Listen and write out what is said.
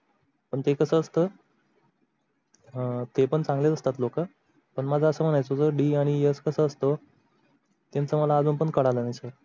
पण ते कस असत अं ते पण चांगले असतात लोक पण मला अस मण्याच होत d आणि s कस असतो त्यांच मला अजून पण कळालं नाही sir